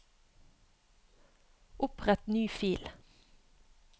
Opprett ny fil